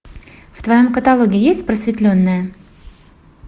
в твоем каталоге есть просветленная